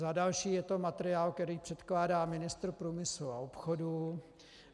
Za další, je to materiál, který předkládá ministr průmyslu a obchodu.